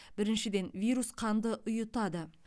біріншіден вирус қанды ұйытады